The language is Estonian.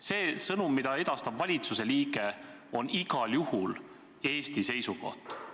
See sõnum, mida edastab valitsuse liige, on igal juhul Eesti seisukoht.